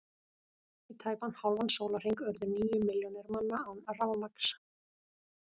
Í tæpan hálfan sólarhring urðu níu milljónir manna án rafmagns.